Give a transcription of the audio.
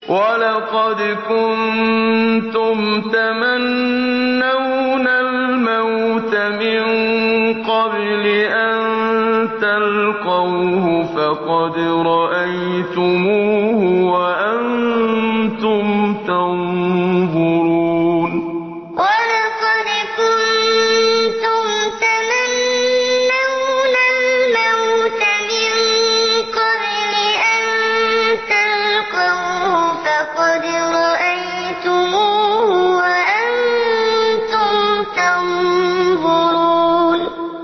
وَلَقَدْ كُنتُمْ تَمَنَّوْنَ الْمَوْتَ مِن قَبْلِ أَن تَلْقَوْهُ فَقَدْ رَأَيْتُمُوهُ وَأَنتُمْ تَنظُرُونَ وَلَقَدْ كُنتُمْ تَمَنَّوْنَ الْمَوْتَ مِن قَبْلِ أَن تَلْقَوْهُ فَقَدْ رَأَيْتُمُوهُ وَأَنتُمْ تَنظُرُونَ